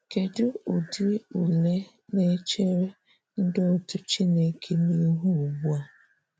Kedụ ụdị ụle na-echere ndị otú Chineke nihụ́ ugbua?